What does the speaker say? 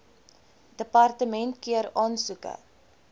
departement keur aansoeke